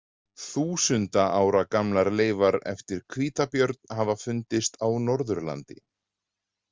Þúsunda ára gamlar leifar eftir hvítabjörn hafa fundist á Norðurlandi.